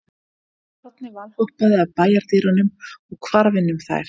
Barnið valhoppaði að bæjardyrunum og hvarf inn um þær.